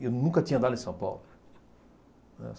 E eu nunca tinha andado em São Paulo, né.